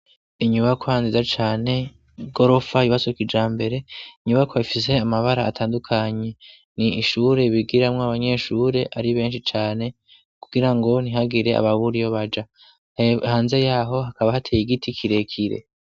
Inyubako hanziza cane gorofa ibasoka ija mbere inyubako yafise amabara atandukanye ni ishure ibigiramwo abanyeshure ari benshi cane kugira ngo ntihagire ababuriyo baja hanze yaho hakaba hateye igiti kirekire.